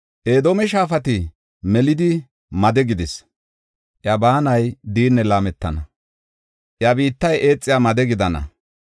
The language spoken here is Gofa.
Edoome shaafati melidi made gidis; iya baanay diinne laametana; iya biittay eexiya made gidana.